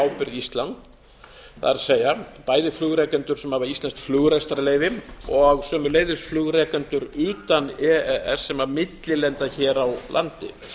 íslands það er bæði flugrekendur sem hafa íslenskt flugrekstrarleyfi og sömuleiðis flugrekendur utan e e s sem millilenda hér á landi